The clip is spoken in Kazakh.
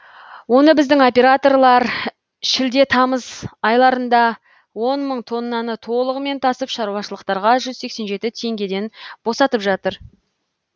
оны біздің операторлар шілде тамыз айларында он мың тоннаны толығымен тасып шаруашылықтарға жүз сексен жеті теңгеден босатып жатыр